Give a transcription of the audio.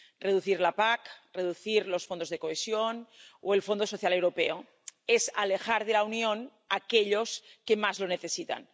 Reducir la PAC, reducir los Fondos de Cohesión o el Fondo Social Europeo es alejar de la Unión a aquellos que más lo necesitan.